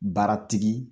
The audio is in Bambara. Baara tigi